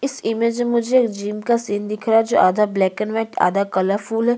इस इमेज में मुझे जिम का सीन दिखाई दे रहा है जिसमें आधा ब्लैक एंड व्हाइट है और आधा कलरफुल है।